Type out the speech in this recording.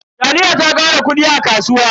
Taliya ta kara kudi a kasuwa.